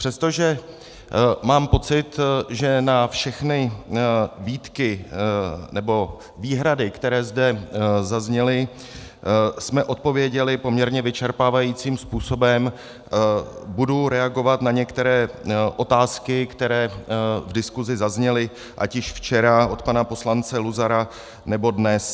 Přestože mám pocit, že na všechny výtky nebo výhrady, které zde zazněly, jsme odpověděli poměrně vyčerpávajícím způsobem, budu reagovat na některé otázky, které v diskuzi zazněly ať již včera od pana poslance Luzara, nebo dnes.